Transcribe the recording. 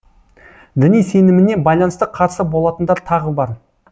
діни сеніміне байланысты қарсы болатындар тағы бар